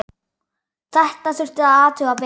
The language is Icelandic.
Þetta þurfti að athuga betur.